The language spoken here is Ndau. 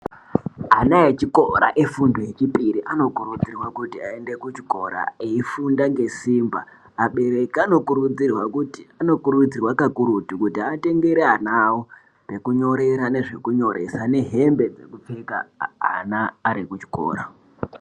Ana echikora efundo yechipiri ano kurudzirwa aende kuchikora eifunda ngesimba abereki anokurudzirwa kakurutu kuti atengere anaawo pekunyorera nezve kunyoresa nehembe dzekufpeka ana ari kuchikora.